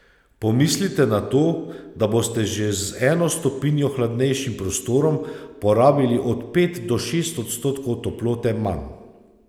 Pomislite na to, da boste že z eno stopinjo hladnejšim prostorom porabili od pet do šest odstotkov toplote manj.